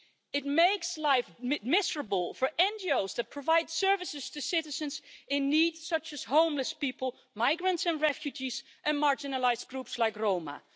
It makes life miserable for NGOs that provide services to citizens in need, such as homeless people, migrants and refugees and marginalised groups like Roma.